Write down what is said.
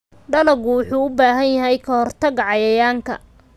Dalaggu wuxuu u baahan yahay ka-hortagga cayayaanka.